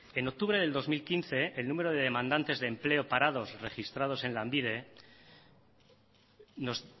en octubre del dos mil quince el número de demandantes de empleo parados registrados en lanbide nos